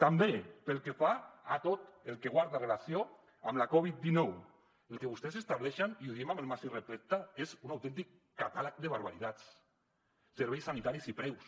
també pel que fa a tot el que guarda relació amb la covid dinou el que vostès estableixen i ho diem amb el màxim respecte és un autèntic catàleg de barbaritats serveis sanitaris i preus